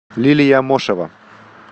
лилия мошева